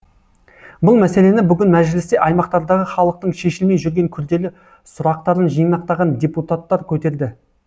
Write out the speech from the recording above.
бұл мәселені бүгін мәжілісте аймақтардағы халықтың шешілмей жүрген күрделі сұрақтарын жинақтаған депутаттар көтерді